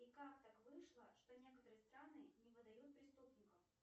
и как так вышло что некоторые страны не выдают преступников